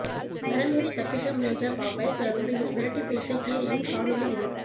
மரமேறி தப்பிக்க முயன்ற பாம்பை சில நொடியில் விரட்டிப் பிடித்த கீரியின் காணொளி இதோ